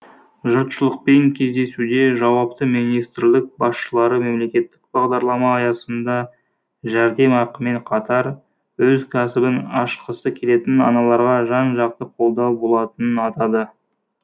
жұртшылықпен кездесуде жауапты министрлік басшылары мемлекеттік бағдарлама аясында жәрдемақымен қатар өз кәсібін ашқысы келетін аналарға жан жақты қолдау болатынын атады